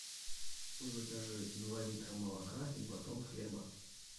закажи два литра молока и батон хлеба